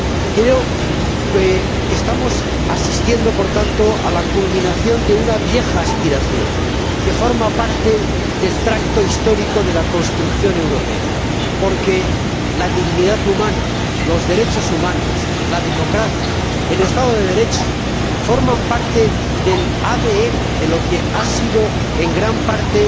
Creo que estamos asistiendo, por tanto, a la culminación de una vieja aspiración que forma parte del tracto histórico de la construcción europea, porque la dignidad humana, los derechos humanos, la democracia, el Estado de Derecho, forman parte del ADN de lo que ha sido en gran parte